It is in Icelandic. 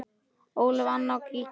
Ólöf, Anna og Gígja.